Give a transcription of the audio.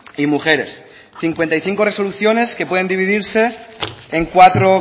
y mujeres cincuenta y cinco resoluciones que pueden dividirse en cuatro